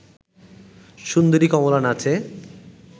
সুন্দরী কমলা নাচে